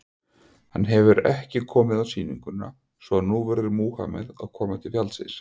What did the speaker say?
Hann hefur ekki komið á sýninguna, svo að nú verður Múhameð að koma til fjallsins.